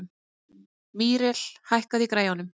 Míríel, hækkaðu í græjunum.